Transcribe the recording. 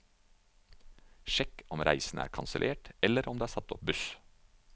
Sjekk om reisen er kansellert eller om det er satt opp buss.